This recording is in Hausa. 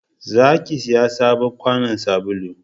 za ki saya sabon kwanon sabulu!